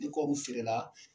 Ni kɔriw feere la